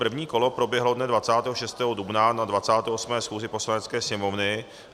První kolo proběhlo dne 26. dubna na 28. schůzi Poslanecké sněmovny.